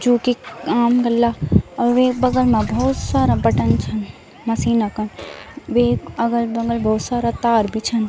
जू की काम कल्ला और वे बगल मा बहौत सारा बटन छन मशीन क वेक अगल-बगल बहौत तार भी छन।